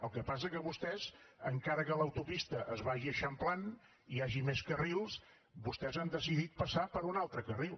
el que passa que vostès encara que l’autopista es vagi eixamplant i hi hagi més carrils han decidit passar per un altre carril